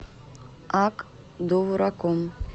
ак довураком